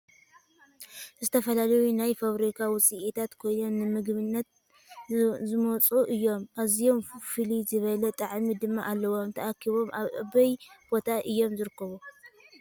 ዝተፈላለዩ ናይ ፋብሪካ ውፅኢታት ኮይኖም ንምግበንት ዝውፅሉ እዮም ኣዝዩም ፍልይ ዝበለ ጣዐሚ ድማ ኣለዎም። ተኣኪቦም ኣበይ ቦታ እዮም ዝርከቡ ?